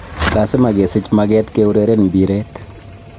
Lasima kesiich mageet keureren mbireet